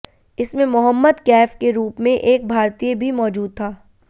इसमें मोहम्मद कैफ के रूप में एक भारतीय भी मौजूद था